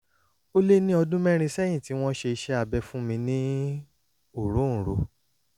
ó lé ní ọdún mẹ́rin sẹ́yìn tí wọ́n ṣe iṣẹ́ abẹ fún mi ní òróǹro